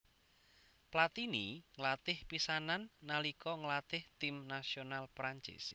Platini nglatih pisanan nalika nglatih tim nasional Prancis